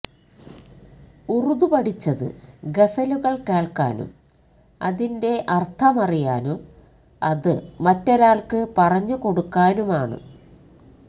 ഉറുദു പഠിച്ചത് ഗസലുകൾ കേൾക്കാനും അതിന്റെ അർഥമറിയാനും അത് മറ്റൊരാൾക്ക് പറഞ്ഞു കൊടുക്കാനുമാണ്